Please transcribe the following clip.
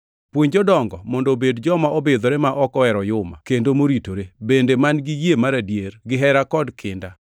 Puonj jodongo mondo obed joma obidhore, ma ok ohero oyuma, kendo moritore, bende man-gi yie mar adier gihera kod kinda.